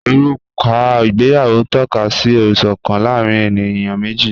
Ọruka igbèyàwó n tọ̀kà sí ìṣọkan láàrín ènìyàn meji